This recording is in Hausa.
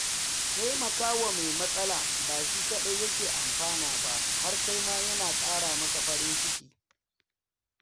Taimakawa mai matsala ba shi kaɗai yake amfana ba, har kai ma yana ƙara maka farin ciki.